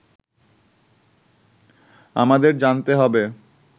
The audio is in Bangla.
আমাদের জানতে হবে